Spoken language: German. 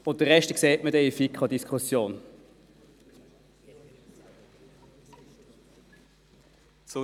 Der Rest wird sich in der Diskussion der FiKo ergeben.